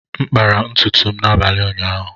M kpara ntutu m n’abalị ụnyaahụ.